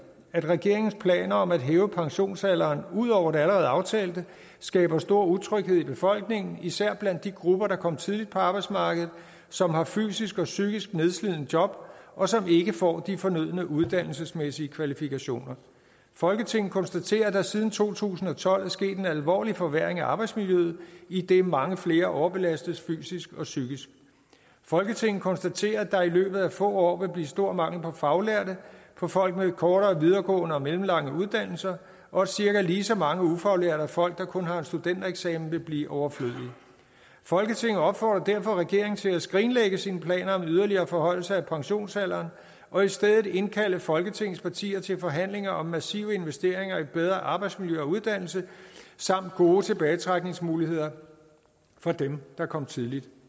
at regeringens planer om at hæve pensionsalderen ud over det allerede aftalte skaber stor utryghed i befolkningen især blandt de grupper der kom tidligt på arbejdsmarkedet som har fysisk og psykisk nedslidende job og som ikke får de fornødne uddannelsesmæssige kvalifikationer folketinget konstaterer at der siden to tusind og tolv er sket en alvorlig forværring af arbejdsmiljøet idet mange flere overbelastes fysisk og psykisk folketinget konstaterer at der i løbet af få år vil blive stor mangel på faglærte på folk med kortere videregående og mellemlange uddannelser og at cirka lige så mange ufaglærte og folk der kun har en studentereksamen vil blive overflødige folketinget opfordrer derfor regeringen til at skrinlægge sine planer om yderligere forhøjelser af pensionsalderen og i stedet indkalde folketingets partier til forhandlinger om massive investeringer i bedre arbejdsmiljø og uddannelse samt gode tilbagetrækningsmuligheder for dem der kom tidligt